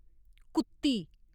कुत्ती